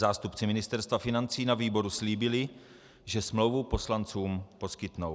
Zástupci Ministerstva financí na výboru slíbili, že smlouvu poslancům poskytnou.